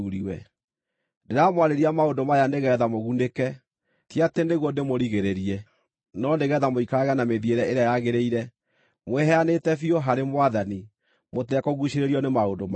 Ndĩramwarĩria maũndũ maya nĩgeetha mũgunĩke, ti atĩ nĩguo ndĩmũrigĩrĩrie, no nĩgeetha mũikarage na mĩthiĩre ĩrĩa yagĩrĩire, mwĩheanĩte biũ harĩ Mwathani mũtekũguucĩrĩrio nĩ maũndũ mangĩ.